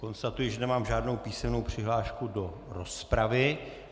Konstatuji, že nemám žádnou písemnou přihlášku do rozpravy.